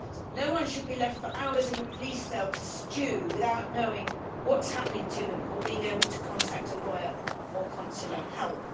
No one should be left for hours in a police cell to stew without knowing what is happening to them or being able to contact a lawyer or consular help.